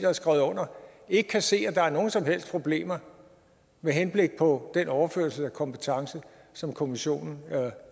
har skrevet under ikke kan se at der er nogen som helst problemer med henblik på den overførelse af kompetence som kommissionen er